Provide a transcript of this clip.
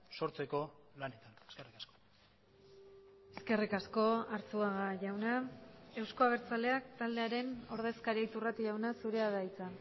sortzeko lanetan eskerrik asko eskerrik asko arzuaga jauna euzko abertzaleak taldearen ordezkaria iturrate jauna zurea da hitza